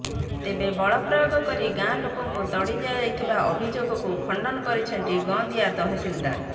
ତେବେ ବଳପ୍ରୟୋଗ କରି ଗାଁ ଲୋକଙ୍କୁ ତଡ଼ି ଦିଆଯାଉଥିବା ଅଭିଯୋଗକୁ ଖଣ୍ଡନ କରିଛନ୍ତି ଗଁଦିଆ ତହସିଲଦାର